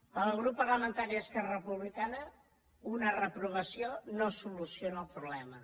pel grup parlamentari d’esquerra republicana una reprovació no soluciona el problema